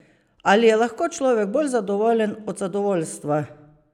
Ali je lahko človek bolj zadovoljen od zadovoljstva?